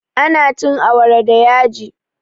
Ana cin awara da yaji